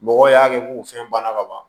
Mɔgɔw y'a kɛ k'u fɛn banna ka ban